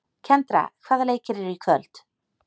Kendra, hvaða leikir eru í kvöld?